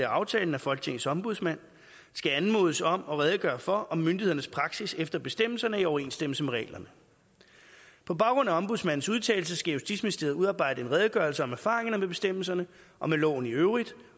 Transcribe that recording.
aftalen at folketingets ombudsmand skal anmodes om at redegøre for om myndighedernes praksis efter bestemmelserne er i overensstemmelse med reglerne på baggrund af ombudsmandens udtalelse skal justitsministeriet udarbejde en redegørelse om erfaringerne med bestemmelserne og med loven i øvrigt og